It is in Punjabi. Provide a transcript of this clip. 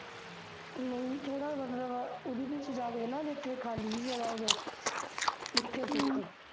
ਨਹੀਂ ਥੋੜਾ ਉਹੋ ਜਹੀ ਜਗਾ ਵੇਖ ਨਾ ਜਿੱਥੇ ਖਾਲੀ ਜਹੀ ਜਗਾ ਹੋਵੇ ਉੱਥੇ ਸਿੱਖ